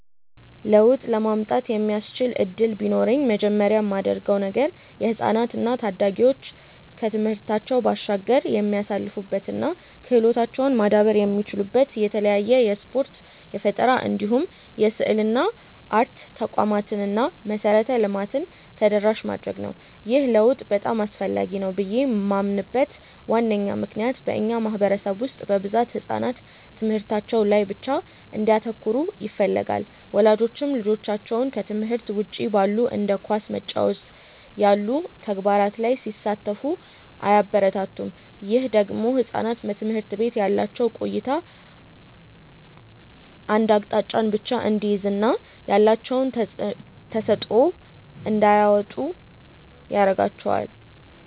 ለውጥ ለማምጣት የሚያስችል እድል ቢኖረኝ መጀመሪያ ማደርገው ነገር የህፃናት እና ታዳጊዎች ከትምህርታቸው ባሻገር የሚሳተፉበት እና ክህሎታቸውም ማዳበር የሚችሉበት የተለያዩ የስፖርት፣ የፈጠራ እንዲሁም የስዕልና አርት ተቋማትን እና መሰረተ ልማትን ተደራሽ ማድረግ ነው። ይህ ለውጥ በጣም አስፈላጊ ነው ብዬ ማምንበት ዋነኛ ምክንያት በእኛ ማህበረሰብ ውስጥ በብዛት ህጻናት ትምህርታቸው ላይ ብቻ እንዲያተኩሩ ይፈለጋል። ወላጆችም ልጆቻቸው ከትምህርት ውጪ ባሉ እንደ ኳስ መጫወት ያሉ ተግባራት ላይ ሲሳተፉ አያበረታቱም። ይህ ደግሞ ህጻናት በትምህርት ቤት ያላቸው ቆይታ አንድ አቅጣጫን ብቻ እንዲይዝ እና ያላቸውን ተሰጥዖ እንዳያወጡ ያረጋቸዋል።